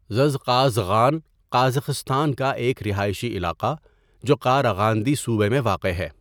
Zhezkazgan Kazakhstan کا ایک رہائشی علاقہ جو قاراغاندی صوبہ میں واقع ہے.